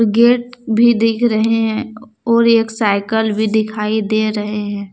Gate भी दिख रहे हैं और एक साइकल भी दिखाई दे रहे हैं।